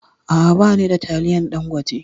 A'a, ba ni da taliyan Ɗangote.